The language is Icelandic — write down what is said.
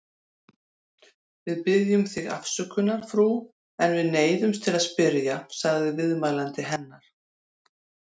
Við biðjum þig afsökunar, frú, en við neyðumst til að spyrja, sagði viðmælandi hennar.